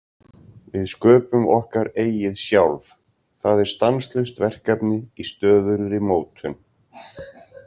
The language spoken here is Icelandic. Við sköpum okkar eigið sjálf, það er stanslaust verkefni í stöðugri mótun.